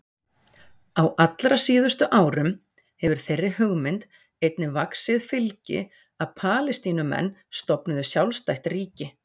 Á allra síðustu árum hefur þeirri hugmynd einnig vaxið fylgi að Palestínumenn stofnuðu sjálfstætt ríki.